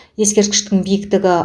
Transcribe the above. ескерткіштің биіктігі